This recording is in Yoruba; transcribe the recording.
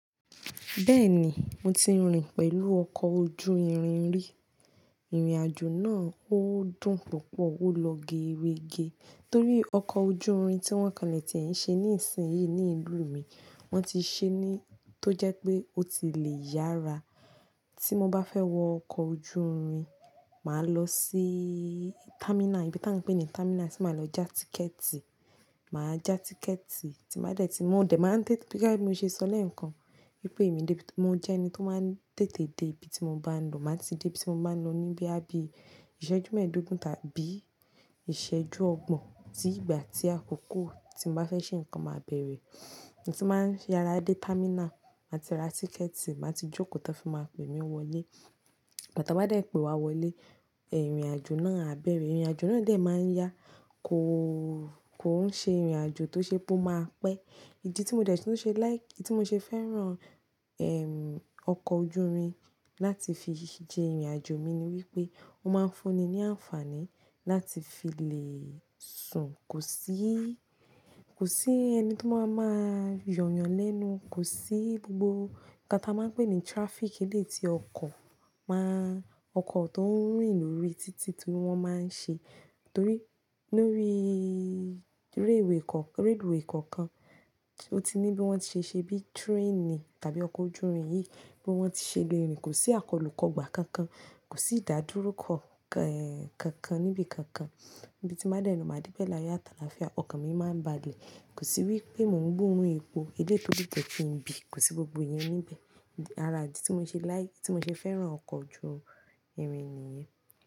Bẹ́ẹ̀ni, mo ti rìn pẹ̀lú ọkọ̀ ojú irin rí. Ìrìnàjò náà ó dùn púpọ̀, ó lọ geerege torí ọkọ̀ ojú irin tí wọ́n kànlẹ̀ tí ẹ̀ ń ṣe ní ìsìn yìí ní ìlú mi, wọ́n ti ṣe ẹ́ ní tó jẹ́ pé ó ti lè yára. Tí mo bá fẹ́ wọ ọkọ̀ ojú irin, màá lọ sí támínà, ibi tí à ń pè ní támínà tí màá lọ já tíkẹ̀ẹ̀tì, màá já tíkẹ̀ẹ̀tì tí màá dẹ̀ tí mo dẹ̀ máa ń tètè-- bí i bá mi ṣe sọl ẹ̀ nǹkan wípé èmi ni mo jẹ́ ẹni tó máa ń tètè dé ibi tí mo bá ń lọ, màá ti dé ibi tí mo bá ń lọ níbí àbí ìṣẹ́jú mẹ́ẹ̀dógún tàbí ìṣẹ́jú ọgbọ̀n. Tí ìgbà tí àkókò tí mo bá fẹ́ ṣe nǹkan máa bẹ̀rẹ̀, mo ti máa ń yara dé támínà, màá ti ra tíkẹ̀ẹ̀tì, màá ti jókòó, táa fi máa pè mí wọlé. Igba táa bá dẹ̀ pé wá wọlé, ìrìnàjò náà á bẹ̀rẹ̀. Ìrìnàjò náà dẹ̀ máa ń yá, kò, kò ń ṣe ìrìnàjò tó ṣe pé o máa pẹ́. Idi ti mo dẹ̀ tu ń ṣe láì, ìdì tí mo ṣe fẹ́ràn, ẹ́m, ọkọ̀ ojú irin láti fi jẹ ìrìnàjò mi ni wípé ó máa ń fún ni ní àǹfààní láti fi lè sùn, kò sí, kò sí ẹni tó máa ń máa yọ yan lẹ́nu, kò sí gbogbo ká ta máa ń pè ní traffic eleyii tí ọkọ̀ máa, ọkọ̀ tó ń rìnrìn lórí títí tí wọ́n máa ń ṣe. Torí lórí reluwè kọ́, reluwè kọ̀ọ̀kan, ó ti ní bí wọ́n ti ṣe ṣe bí train tàbí ọkọ̀ ojú irin yìí bí wọ́n ti ṣe le rìn, kò sí akọlùkọ́gbà kankan, kò sí ìdádúró kọ́, kankan níbi kankan. Ibi tí n bá dẹ̀ n lọ, màá dé bẹ́ẹ̀ láyọ ati àlàáfíà, ọkàn mi máa ń balẹ̀. Kò sí wípé mò ń gborún epo, eléyìí tó le jẹ́ kí ń bí, kò sí gbogbo iyẹn níbẹ̀. Ara ìdí tí mo ṣe láì, tí mo ṣe fẹ́ràn ọkọ̀ ojú irin nìyẹn.